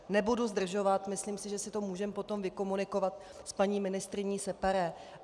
Nebudu zdržovat, myslím si, že si to můžeme potom vykomunikovat s paní ministryní separé.